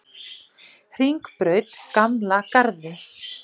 Hringbraut Gamla Garði